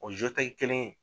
O kelen in